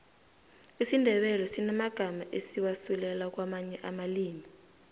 isindebele sinamagamma esiwasusela kwamanye amalimi